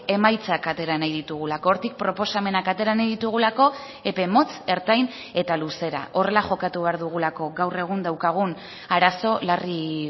emaitzak atera nahi ditugulako hortik proposamenak atera nahi ditugulako epe motz ertain eta luzera horrela jokatu behar dugulako gaur egun daukagun arazo larri